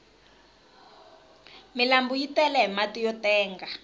milanbu yi tele hi mati yo tenga